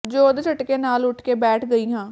ਜੋਰ ਦੇ ਝਟਕੇ ਨਾਲ ਉੱਠ ਕੇ ਬੈਠ ਗਈ ਹਾਂ